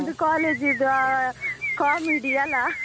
College ದ್ದು ಆ comedy ಅಲ್ಲಾ?